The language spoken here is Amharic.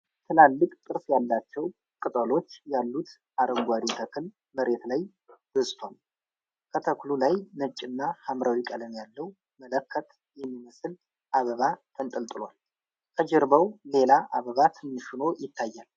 ትላልቅ ጥርስ ያላቸው ቅጠሎች ያሉት አረንጓዴ ተክል መሬት ላይ በዝቷል። ከተክሉ ላይ ነጭና ሐምራዊ ቀለም ያለው መለከት የሚመስል አበባ ተንጠልጥሏል። ከጀርባው ሌላ አበባ ትንሽ ሆኖ ይታያል።